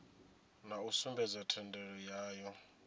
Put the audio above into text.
na u sumbedza thendelo yayo